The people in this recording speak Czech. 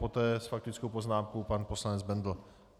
Poté s faktickou poznámkou pan poslanec Bendl.